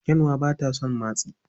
Kyanwa ba ta son matsi.